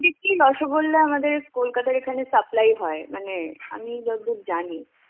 থেকে রসগোল্লা আমাদের কলকাতার এখানে supply হয়. মানে আমি যতদূর জানি.